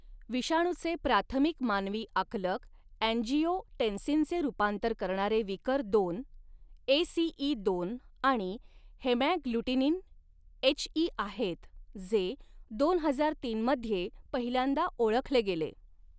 विषाणूचे प्राथमिक मानवी आकलक अँजिओटेन्सिनचे रुपांतर करणारे विकर दोन एसीईदोन आणि हेमॅग्लुटिनिन एचई आहेत, जे दोन हजार तीन मध्ये पहिल्यांदा ओळखले गेले.